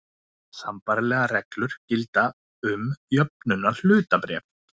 Sambærilegar reglur gilda um jöfnunarhlutabréf.